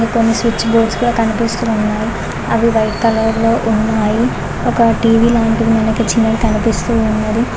కొన్ని switch boards కూడా కనిపిస్తూ ఉన్నాయి అవి వైట్ కలర్ లో ఉన్నాయి ఒక టీవీ లాంటిది వెనుక చిన్న కనిపిస్తూ ఉన్నది.